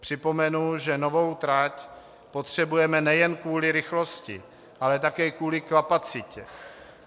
Připomenu, že novou trať potřebujeme nejen kvůli rychlosti, ale také kvůli kapacitě.